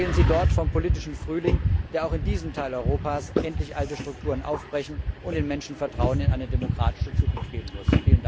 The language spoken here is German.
Erzählen Sie dort vom politischen Frühling, der auch in diesem Teil Europas endlich alte Strukturen aufbrechen und den Menschen Vertrauen in eine demokratische Zukunft geben muss.